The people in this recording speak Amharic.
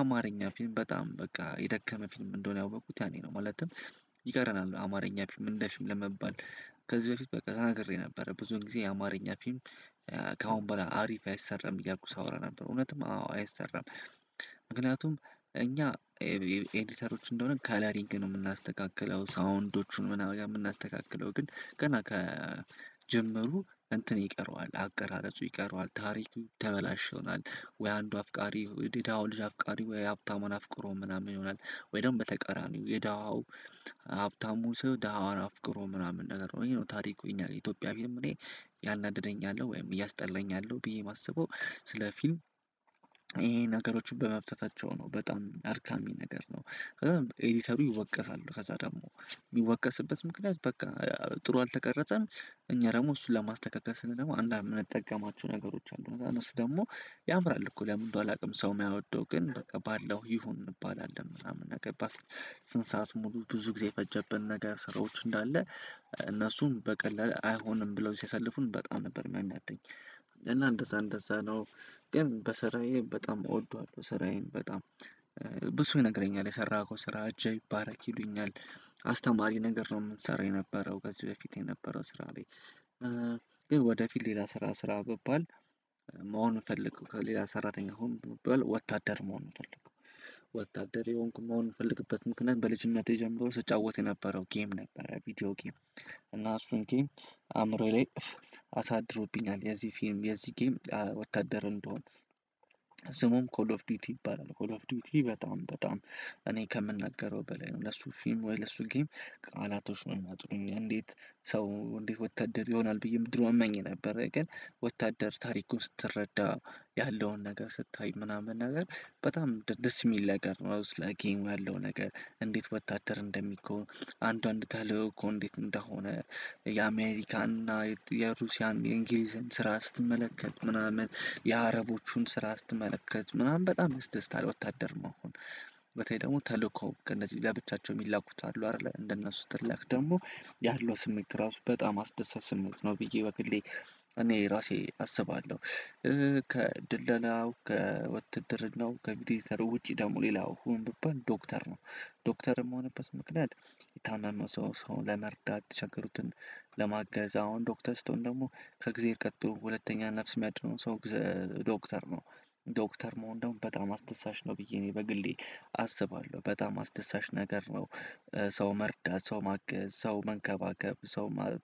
አማርኛ ፊልም በጣም በቃ የደከመ ፊልም እንደሆነ ያወኩት ያኔ ነው ማለትም ይቀረናል አማርኛ ፊልም እንደፊልም ለመባል ከዚህ በፊት በቃ ተናግሬ ነበረ ብዙ ጊዜ አማርኛ ፊልም ከአሁን በኋላ አሪፍ አይሰረም እያልኩ ሳወራ ነበር እውነትም አዎ አይሰራም። ምክንያቱም እኛ ኤዲተሮች እንደሆነ ከላሪንግ ነው የምናስተካክለው ሳውንዶቹን ምናምን ጋር የምናስተካክለው ግን ገና ከጀመሩ እንትን ይቀረዋል አቀራረጹ ይቀረዋል ታሪኩ ተበላሽ ይሆናል። ወይ አንዱ አፍቃሪ ወይ የደሃው ልጅ አፍቃሪ ወይ የሀብታሙን አፍቅሮ ምናምን ይሆናል። ወይ ደግሞ በተቀራኒው የደሃው ሀብታሙ ሰው ደሀዋን አፍቅሮ ምናምን ነገር ይሄ ነው ታሪኩ እኛ የኢትዮጵያ ፊልም እኔ ያናድደኛል ወይም እያስጠላኝ ያለው ብዬ ማሰበው። ስለ ፊልም ይሄ ነገሮችን በመብተታቸው ነው በጣም አድካሚ ነገር ነው። ከዛ ኤዲተሩ ይወቀሳሉ ከዛ ደግሞ የሚወቀስበት ምክንያት በቃ ጥሩ አልተቀረጸም። እኛ ደግሞ እሱን ለማስተካከል ስንል ደግሞ አንዳንድ የምንጠቀማቸው ነገሮች አሉ እነሱ ደግሞ ያምራል እኮ ለምንድነው አላውቅም ሰው የማይወደው ግን በቃ ባለው ይሁን እንባላለን ምናምን እናገባለን ስንት ሰዓት ሙሉ ብዙ ጊዜ የፈጀብን ነገር ስራዎች እንዳለ እነሱም በቀላሉ አይሆንም ብለው ሲያሳልፉን በጣም ነበር የሚያናደኝ እና እንደዛ እንደዛ ነው። ግን በስራዬ በጣም እወደዋለሁ ስራዬን በጣም ብዙ ሰው ይነግረኛል የሰራኸው ስራ እጅህ ይባረክ ይሉኛል። አስተማሪ ነገር ነው የምትሰራው የነበረው ከዚህ በፊት የነበረው ስራ ላይ ወደፊት ሌላ ስራ ስራ ብባል መሆን ምፈልገው ከሌላ ሰራተኛ ሁን ብባል ወታደር መሆን ነው ምፈልገው። ወታደር የሆንኩ መሆን ምፈልግበት ምክንያት በልጅነቴ ጀምሮ ስጫወት የነበረው ጌም ነበረ ቪዲዮ ጌም እና እሱን ጌም አእምሮዬ ላይ አሳድሮብኛል የዚህ ፊልም የዚህ ጌም ወታደር እንድሆን። ስሙም ኮል ኦፍ ዲውቲ ይባላል ኮል ኦፍ ዲውት በጣም በጣም እኔ ከምናገረው በላይ ነው ለሱ ፊልም ወይ ለሱ ጌም ቃላቶች ነው የሚያጥሩኝ እንዴት? ሰው እንዴት ወታደር ይሆናል ብዬም ድሮ እመኝ ነበር ግን ወታደር ታሪኩን ስትረዳ ያለውን ነገር ስታይ ምናምን ነገር በጣም ደስ የሚል ነገር ነው። አውስ ላይ ጌሙ ያለው ነገር እንዴት ወታደር እንደሚሆን አንዳንድ ተልእኮ እኮ እንዴት እንደሆነ የአሜሪካን እና የሩሲያን የእንግሊዝን ስራ ስትመለከት ምናምን የአረቦቹን ስራ ስትመለከት ምናምን በጣም ያስደስትሃል ወታደር መሆን። በተለይ ደግሞ ተልእኮ ከእነዚህ ብላ ብቻቸው የሚላኩት አሉ አይደለ እንደነሱ ስትልክ ደግሞ ያሉት ስሜት ራሱ በጣም አስደሳች ስሜት ነው ብዬ በግሌ እኔ ራሴ አስባለሁ። ከድለላው ከውትድርናው ከቪዲዮ ኤዲተር ውጪ ደግሞ ሌላው ሁን ብባል ዶክተር ነው። ዶክተር ምሆንበት ምክንያት የታመመ ሰው ሰው ለመርዳት የተቸገሩትን ለማገዝ አሁን ዶክተር ስቶን ደግሞ ከእግዜር ቀጥሎ ሁለተኛ ነፍስ የሚያድነው ሰው እግዚ ዶክተር ነው። ዶክተር መሆን ደግሞ በጣም አስደሳች ነው ብዬ እኔ በግሌ አስባለሁ በጣም አስደሳች ነገር ነው። ሰው መርዳት ሰው ማገዝ ሰው መንከባከብ ሰው ማ